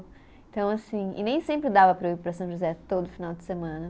Então assim, e nem sempre dava para eu ir para São José todo final de semana.